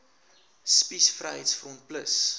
spies vryheids front plus